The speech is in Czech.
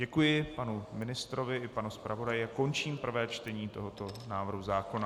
Děkuji panu ministrovi i panu zpravodaji a končím prvé čtení tohoto návrhu zákona.